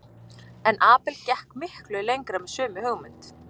En Abel gekk miklu lengra með sömu hugmynd.